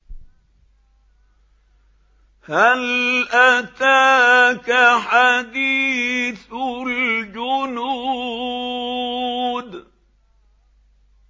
هَلْ أَتَاكَ حَدِيثُ الْجُنُودِ